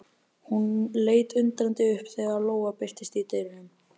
Hún leit undrandi upp þegar Lóa birtist í dyrunum.